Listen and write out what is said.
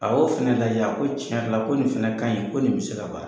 A y'o fɛnɛ lajɛ, a ko tiɲɛ yɛrɛ la ko nin fɛnɛ kaɲi, ko nin bɛ se ka baara